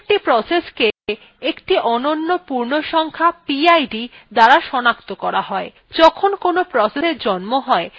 প্রত্যেকটি process একটি অনন্য পূর্ণসংখ্যা pid দ্বারা সনাক্ত করা হয় যখন কোনো processএর জন্ম হয় তখন তার pid kernel দ্বারা নির্ধারিত হয়